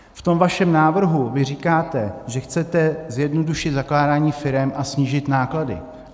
V tom vašem návrhu vy říkáte, že chcete zjednodušit zakládání firem a snížit náklady.